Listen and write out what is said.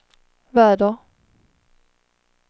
väder